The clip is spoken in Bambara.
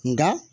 Nka